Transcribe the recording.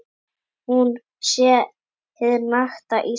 Hún sé hið nakta Ísland.